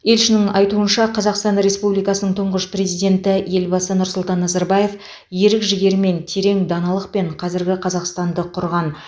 елшінің айтуынша қазақстан республикасының тұңғыш президенті елбасы нұрсұлтан назарбаев ерік жігермен терең даналықпен қазіргі қазақстанды құрған